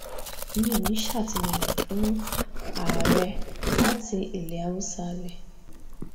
mi ò ní í ṣàtìlẹyìn fún ààrẹ láti ilẹ haúsá lẹ̀